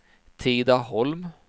Tidaholm